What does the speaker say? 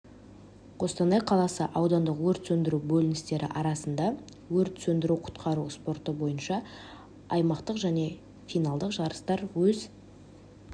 қостанай қаласы аудандық өрт сөндіру бөліністері арасында өрт сөндіру-құтқару спорты бойынша аймақтық және финалдық жарыстар өз